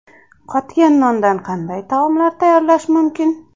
Qotgan nondan qanday taomlar tayyorlash mumkin?.